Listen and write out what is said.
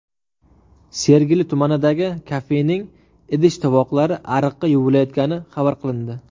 Sergeli tumanidagi kafening idish-tovoqlari ariqda yuvilayotgani xabar qilindi.